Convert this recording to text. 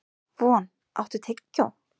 Von, áttu tyggjó?